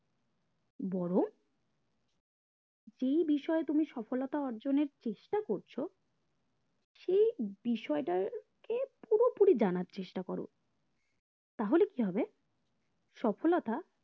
বরং যে বিষয়ে তুমি সফলতার অর্জনের চেষ্টা করছো সেই বিষয়টাকে পুরোপুরি জানার চেষ্টা করো তাহলে কি হবে সফলতা